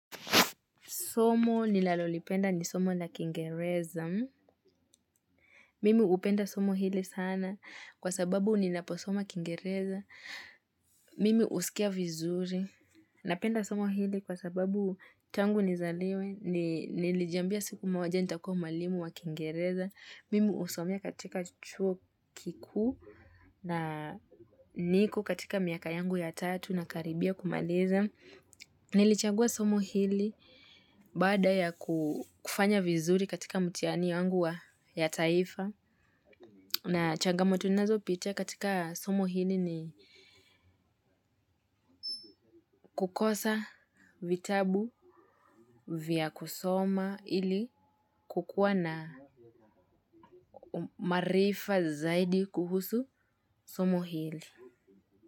Somo ninalolipenda ni somo na kiingereza. Mimi hupenda somo hili sana kwa sababu ninaposoma kiingereza. Mimi husikia vizuri. Napenda somo hili kwa sababu tangu nizaliwe. Nilijambia siku moja nitakuwa mwalimu wa kiingereza. Mimi husomea katika chuo kikuu na niko katika miaka yangu ya tatu nakaribia kumaliza. Nilichagua somo hili baada ya kufanya vizuri katika mtihani yangu ya taifa na changamoto ninazopitia katika somo hili ni kukosa vitabu vya kusoma ili kukuwa na maarifa zaidi kuhusu somo hili.